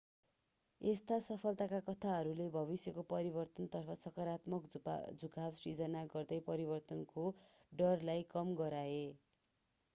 यस्ता सफलताका कथाहरूले भविष्यको परिवर्तनतर्फ सकारात्मक झुकाव सिर्जना गर्दै परिवर्तनको डरलाई कम गराए